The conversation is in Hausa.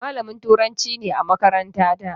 Malamin Turanci ne a makarantata.